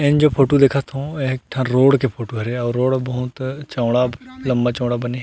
N जो photo देखा थो ये ह एक ठो रोड के फोटो हरे आऊ रोड ह बहुत चौड़ा लम्बा-चौड़ा बने हे।